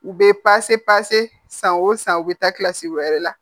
U bɛ san o san u bɛ taa kilasi wɛrɛ la